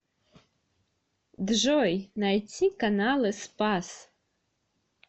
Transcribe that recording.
джой найти каналы спас